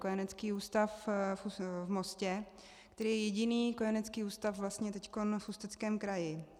Kojenecký ústav v Mostě, který je jediný kojenecký ústav vlastně teď v Ústeckém kraji.